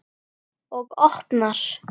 Og opnar.